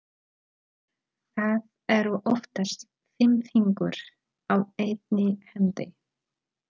Það eru oftast fimm fingur á einni hendi.